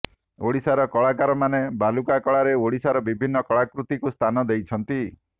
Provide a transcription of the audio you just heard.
ଓଡ଼ିଶାର କଳାକାରମାନେ ବାଲୁକା କଳାରେ ଓଡ଼ିଶାର ବିଭିନ୍ନ କଳାକୃତିକୁ ସ୍ଥାନ ଦେଇଛନ୍ତି